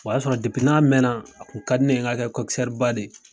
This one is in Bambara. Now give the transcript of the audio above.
O y'a sɔrɔ n'a mɛnna a kun ka di ne ye n ka kɛ de ye.